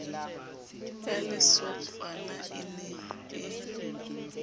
ya lesokwana e ne e